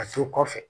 A to kɔfɛ